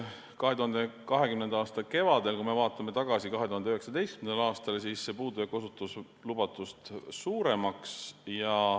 2020. aasta kevadel, kui me vaatame tagasi 2019. aastale, osutus see puudujääk lubatust suuremaks.